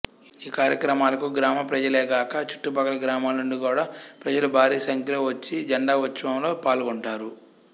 ఈ కార్యక్రమాలకు గ్రామ ప్రజలేగాక చుట్టుప్రక్కల గ్రామాల నుండి గూడా ప్రజలు భారీ సంఖ్యలో వఛ్చి జెండా ఉత్సవంలో పాల్గొంటారు